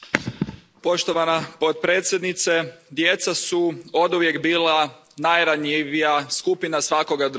Poštovana podpredsjednice, djeca su oduvijek bila najranjivija skupina svakoga društva.